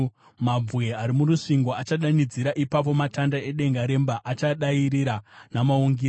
Mabwe ari murusvingo achadanidzira, ipapo matanda edenga remba achadairira namaungira.